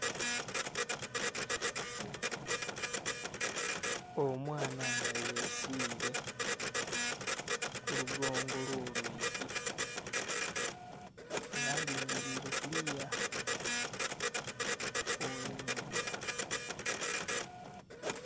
Omwana nga yesire kulugongo olwo lwigi nga alingirire kuliya oghe nhumba.